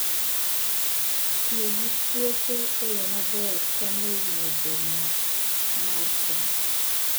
Tiyo gi puothe e yo maber konyo e medo nyak mar cham.